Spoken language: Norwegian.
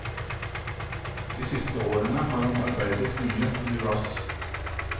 De siste årene har han arbeidet mye med glass.